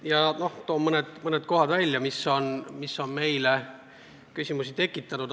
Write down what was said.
Toon mõned kohad välja, mis on meile küsimusi tekitanud.